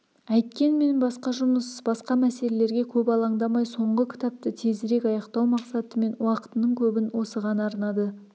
әйткенмен басқа жұмыс басқа мәселелерге көп алаңдамай соңғы кітапты тезірек аяқтау мақсатымен уақытының көбін осыған арнады